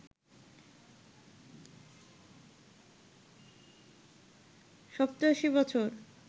৮৭ বছর